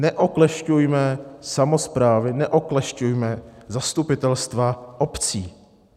Neoklešťujme samosprávy, neoklešťujme zastupitelstva obcí.